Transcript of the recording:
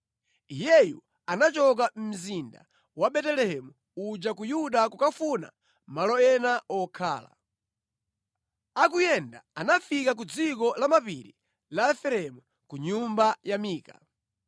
Iyeyu anachoka mu mzinda wa Betelehemu uja ku Yuda kukafuna malo ena okhala. Akuyenda, anafika ku dziko la mapiri la Efereimu ku nyumba ya Mika.